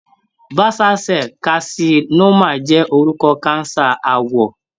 Basal cell carcinoma jẹ́ orúkọ cancer àwọ̀.